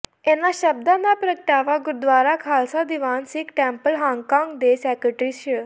ਇਨ੍ਹਾਂ ਸ਼ਬਦਾਂ ਦਾ ਪ੍ਰਗਟਾਵਾ ਗੁਰਦੁਆਰਾ ਖਾਲਸਾ ਦੀਵਾਨ ਸਿੱਖ ਟੈਂਪਲ ਹਾਂਗਕਾਂਗ ਦੇ ਸੈਕਟਰੀ ਸ੍ਰ